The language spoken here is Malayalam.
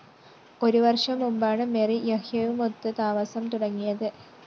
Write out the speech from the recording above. ഒരു വര്‍ഷം മുമ്പാണ് മെറിന്‍ യഹ്യയുമൊത്ത് താമസം തുടങ്ങിയത്